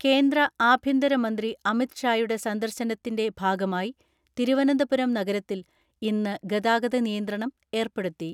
കേന്ദ്ര ആഭ്യന്തര മന്ത്രി അമിത് ഷായുടെ സന്ദർശനത്തിന്റെ ഭാഗമായി തിരുവനന്തപുരം നഗരത്തിൽ ഇന്ന് ഗതാഗത നിയന്ത്രണം ഏർപ്പെടുത്തി.